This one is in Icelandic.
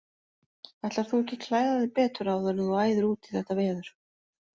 Ætlar þú ekki klæða þig betur áður en þú æðir út í þetta veður?